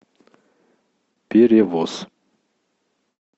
перевоз